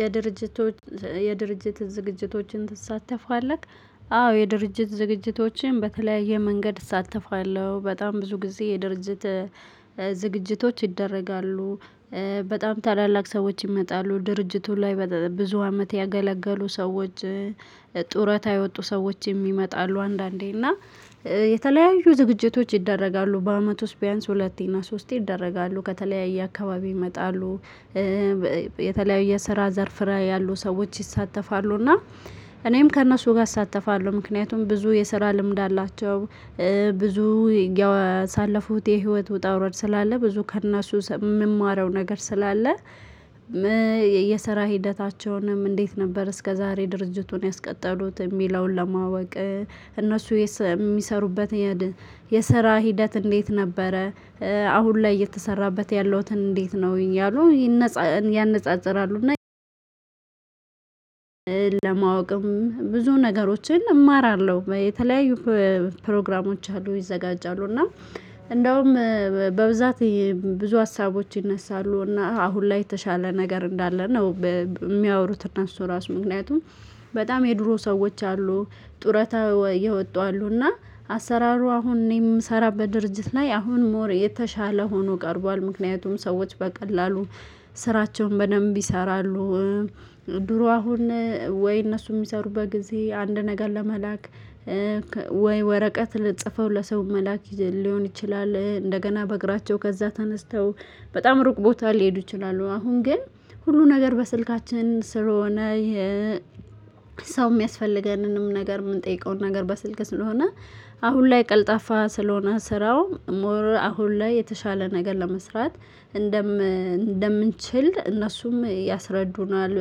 የድርጅቶች የድርጅት ዝግጅቶችን ትሳተፋለህ። አዎ የድርጅት ዝግጅቶችን በተለያየ መንገድ እሳተፋለሁ። በጣም ብዙ ጊዜ የድርጅት ዝግጅቶች ይደረጋሉ፣ በጣም ታላላቅ ሰዎች ይመጣሉ፣ ድርጅቱ ላይ ብዙ አመት ያገለገሉ ሰዎች፣ ጡረታ የወጡ ሰዎች የሚመጣሉ አንዳንዴ እና የተለያዩ ዝግጅቶች ይደረጋሉ። በአመቱ ውስጥ ቢያንስ ሁለቴ እና ሶስቴ ይደረጋሉ። ከተለያየ አካባቢ ይመጣሉ። የተለያየ ስራ ዘርፍ ላይ ያሉ ሰዎች ይሳተፋሉ። እና እኔም ከእነሱ ጋር አሳተፋለሁ። ምክንያቱም ብዙ የስራ ልምድ አላቸው። ብዙ ያሳለፉት የህይወት ውጣ ውረድ ስላለ። ብዙ ከእነሱ የምማረው ነገር ስላለ የስራ ሂደታቸውንም እንዴት ነበር እስከዛሬ ድርጅቱን ያስቀጠሉት የሚለውን ለማወቅ እነሱ የሚሰሩበት የሰራ ሂደት እንዴት ነበረ? አሁን ላይ እየተሰራበት ያለውን እንዴት ነው? እያሉ ያነጻጽራሉ። ለማወቅም ብዙ ነገሮችን እማራለሁ። የተለያዩ ፕሮግራሞች አሉ ይዘጋጃሉ። እና እንደውም በብዛት ብዙ ሀሳቦች ይነሳሉ። እና አሁን ላይ የተሻለ ነገር እንዳለ ነው የሚያወሩት እነሱ እራሱ ምክንያቱም በጣም የድሮ ሰዎች አሉ ጡረታ የወጡ አሉና አሰራሩ አሁን እኔ የምሰራው በድርጅት ላይ አሁን ሞር የተሻለ ሆኖ ቀርቧል ምክንያቱም ሰዎች በቀላሉ ስራቸውን በደንብ ይሰራሉ። ድሮ አሁን ወይ እነሱ የሚሰሩበት ጊዜ አንድ ነገር ለመላክ ወይ ወረቀት ጽፈው ለሰው መላክ ሊሆን ይችላል እንደገና በእግራቸው ከዛ ተነስተው በጣም ሩቅ ቦታ ሊሄዱ ይችላሉ አሁን ግን ሁሉ ነገር በስልካችን ስለሆነ ይሄ ሰው የሚያስፈልገንንም ነገር የምንጠይቀውን ነገር በስልክ ስለሆነ አሁን ላይ ቀልጣፋ ስለሆነ ስራው ሞር አሁን ላይ የተሻለ ነገር ለመስራት እንደምንችል እነሱም ያስረዱናል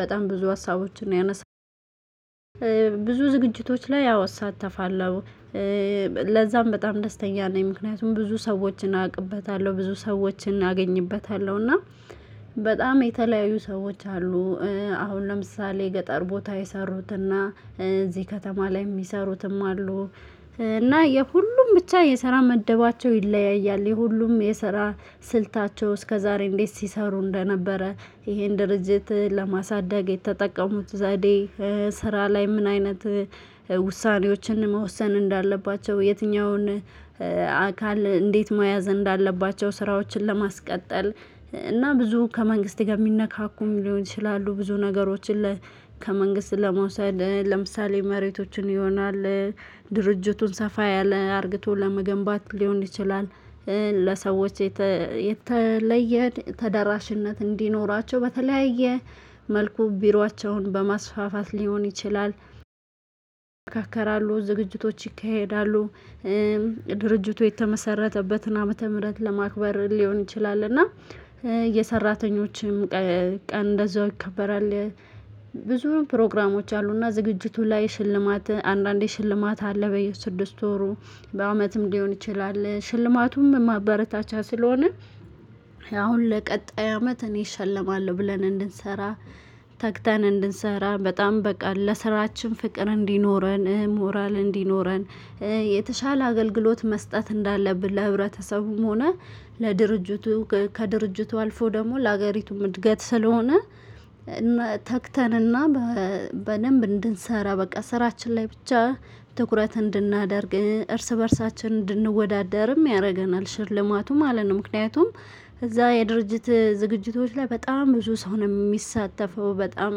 በጣም ብዙ ሀሳቦችን ያነሳል ብዙ ዝግጅቶች ላይ አወ እሳተፋለው። ለዛም በጣም ደስተኛ ነኝ ምክንያቱም ብዙ ሰዎችን አውቅበታለሁ፤ ብዙ ሰዎችን እናገኝበታለሁ እና በጣም የተለያዩ ሰዎች አሉ አሁን ለምሳሌ ገጠር ቦታ የሰሩትና እዚህ ከተማ ላይ የሚሰሩትም አሉ እና የሁሉም ብቻ የሰራ መደባቸው ይለያያል። የሁሉም የሰራ ስልታቸው እስከዛሬ እንዴት ሲሰሩ እንደነበረ ይሄን ድርጅት ለማሳደግ የተጠቀሙት ዘዴ ስራ ላይ ምን አይነት ውሳኔዎችን መወሰን እንዳለባቸው የትኛውን አካል እንዴት መያዝ እንዳለባቸው ስራዎችን ለማስቀጠል እና ብዙ ከመንግስት ጋር የሚነካኩም ሊሆን ይችላሉ። ብዙ ነገሮችን ለ ከመንግስት ለመውሰድ ለምሳሌ መሬቶችን ይሆናል፣ ድርጅቱን ሰፋ ያለ አርግቶ ለመገንባት ሊሆን ይችላል፣ ለሰዎች የተለየ ተደራሽነት እንዲኖራቸው በተለያየ መልኩ ቢሯቸውን በማስፋፋት ሊሆን ይችላል፣ ያመካከራሉ፣ ዝግጅቶች ይካሄዳሉ ድርጅቱ የተመሰረተበትን ዓመተ ምህረት ለማክበር ሊሆን ይችላል እና የሰራተኞችም ቀን እንደዛው ይከበራል። ብዙ ፕሮግራሞች አሉና ዝግጅቱ ላይ ሽልማት አንዳንዴ ሽልማት አለ በየስድስት ወሩ በአመትም ሊሆን ይችላል። ሽልማቱም ማበረታቻ ስለሆነ አሁን ለቀጣይ አመት እኔ እሸለማለሁ ብለን እንድንሰራ፣ ተግተን እንድንሰራ፣ በጣም በቃ ለስራችን ፍቅር እንዲኖረን፣ ሞራል እንዲኖረን፣ የተሻለ አገልግሎት መስጠት እንዳለብን ለህብረተሰቡም ሆነ ለድርጅቱ ከድርጅቱ አልፎ ደግሞ ለሀገሪቱም እድገት ስለሆነ ተግተንና በደንብ እንድንሰራ በቃ ስራችን ላይ ብቻ ትኩረት እንድናደርግ እርስ በእርሳችን እንድንወዳደርም ያረገናል ሽልማቱም ማለት ነው። ምክንያቱም እዛ የድርጅት ዝግጅቶች ላይ በጣም ብዙ ሰው ነው የሚሳተፈው በጣም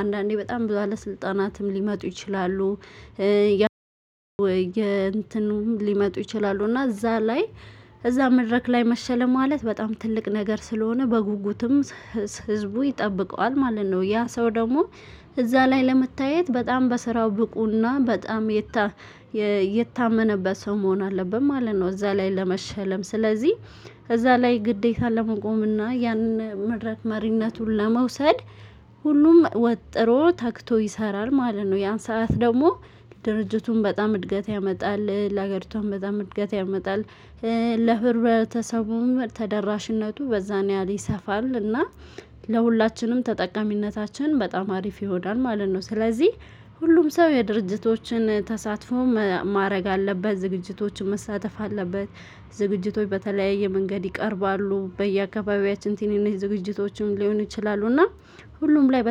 አንዳንዴ በጣም ብዙ ባለስልጣናትም ሊመጡ ይችላሉ የእንትኑም ሊመጡ ይችላሉ እና እዛ ላይ እዛ መድረክ ላይ መሸም ማለት በጣም ትልቅ ነገር ስለሆነ በጉጉትም ህዝቡ ይጠብቀዋል ማለት ነው ያ ሰው ደግሞ እዛ ላይ ለመታየት በጣም በስራው ብቁና በጣም የታመነበት ሰው መሆን አለብን ማለት ነው እዛ ላይ ለመሸለም ስለዚህ እዛ ላይ ግዴታ ለመቆም እና ያንን መድረክ መሪነቱን ለመውሰድ ሁሉም ወጥሮ ታግቶ ይሰራል ማለት ነው። ያን ሰዓት ደግሞ ድርጅቱም በጣም እድገት ያመጣል ለሀገሪቷም በጣም እድገት ያመጣል። ለህብረተሰቡም ተደራሽነቱ በዛን ያህል ይሰፋል እና ለሁላችንም ተጠቃሚነታችን በጣም አሪፍ ይሆናል ማለት ነው ስለዚህ ሁሉም ሰው የድርጅቶችን ተሳትፎ ማድረግ አለበት ዝግጅቶችን መሳተፍ አለበት ዝግጅቶች በተለያየ መንገድ ይቀርባሉ በየአገባቢያችን ትንንሽ ዝግጅቶችም ሊሆን ይችላሉ እና ሁሉም ላይ